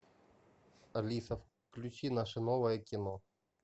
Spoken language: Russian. алиса включи наше новое кино